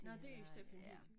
Når det er Steffen Hyldig